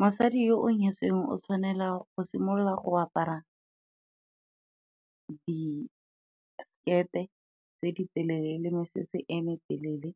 Mosadi yo o nyetsweng o tshwanelwa go simolola go apara disekete tse di telele le mosese e metelele,